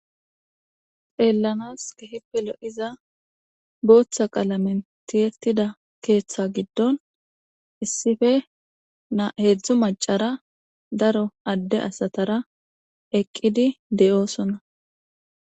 Xeellanas kehippelo iza booththa qala mentiyettida keeththa giddon issife na heedzdzu macara daro adde asatara eqqidi de7oosonna